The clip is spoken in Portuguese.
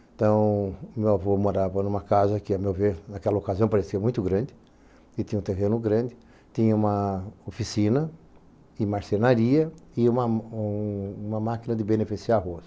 Então, o meu avô morava em uma casa que, a meu ver, naquela ocasião, parecia muito grande, e tinha um terreno grande, tinha uma oficina, e marcenaria, e uma um uma máquina de beneficiar arroz.